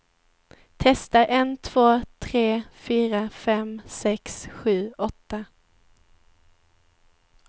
Testar en två tre fyra fem sex sju åtta.